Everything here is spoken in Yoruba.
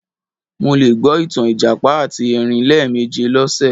Mo le gbọ ìtàn ìjàpá àti erin lẹ́ẹ̀méje lọ́sẹ̀